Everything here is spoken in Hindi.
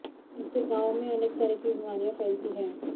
इससे गांवों में अनेक तरह की बीमारियां फैलती हैं